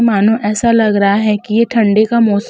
मानो ऐसा लग रहा है की ये ठंडी का मोस --